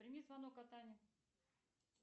прими звонок от ани